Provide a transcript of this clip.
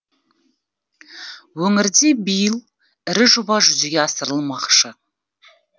өңірде биыл ірі жоба жүзеге асырылмақшы